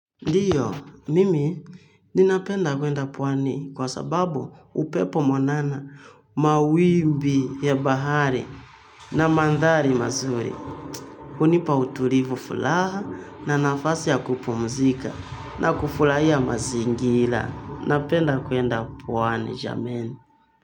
Ndiyo, mimi, ninapenda kwenda pwani kwa sababu upepo mwanana mawimbi ya bahari na mandhari mazuri. Hunipa utulivu furaha na nafasi ya kupumzika na kufurahia mazingira. Napenda kwenda pwani jameni.